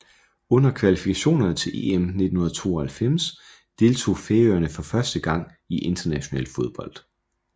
Under kvalifikationerne til EM 1992 deltog Færøerne for første gang i international fodbold